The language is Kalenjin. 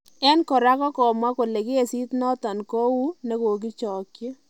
En kora ko komwa kole kesit nondon kouunekokichokyi